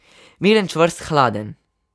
Miren, čvrst, hladen.